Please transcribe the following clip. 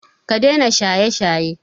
Ka daina shaye-shaye!